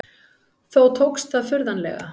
Þó tókst það furðanlega.